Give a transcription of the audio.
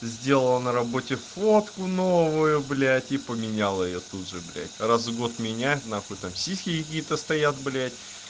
сделала на работе фотку новую блядь и поменяла её тут же блядь раз в год меняет нахуй там сиськи какие-то стоят блядь